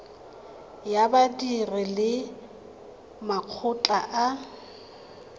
ya badiri le makgotla a